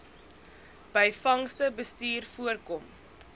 byvangste bestuur voorkom